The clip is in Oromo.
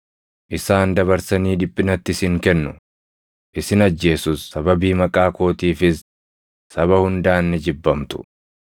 “Isaan dabarsanii dhiphinatti isin kennu; isin ajjeesus; sababii maqaa kootiifis saba hundaan ni jibbamtu.